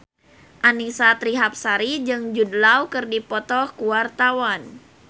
Annisa Trihapsari jeung Jude Law keur dipoto ku wartawan